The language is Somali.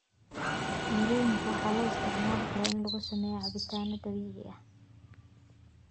Mirooyinka waxaa loo isticmaali karaa in lagu sameeyo cabitaanno dabiici ah.